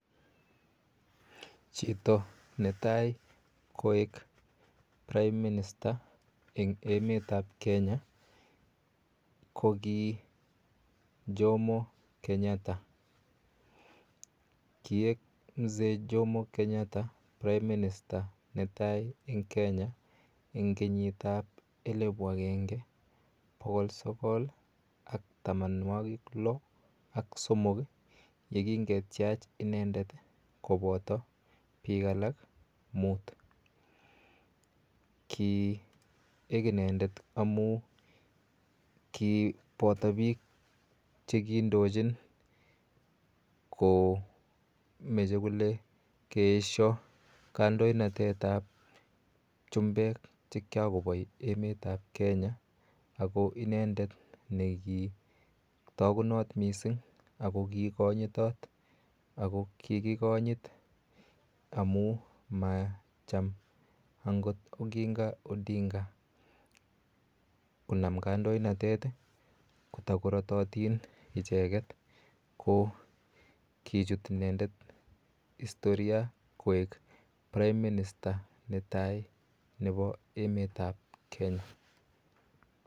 Chito ne tai koek Prime minister en emet ap Kenya ko ki Jomo Kenyatta. Kiek Mzee Jomo Kenyatta prime minister netai en Kenya en kenyit ap elipu agenge pokol sogol ak tamanwagik loak somok ye kingetyach inendet kopata piik alak muut. Ki ek inendet amu chi pata piik che kiindochin kele kimache kole keesho kandoinatet ap chumbek che kikakopai emet ap Kenya ako inendet ne kitagunat missing' ako kikanyitat ako kikikonyit amu macham angot Oginga Odinga konam kandoinatet kotakoratatin icheget ko kichut inendet istoria koek prime minister ne tai nepo emet ap Kenya.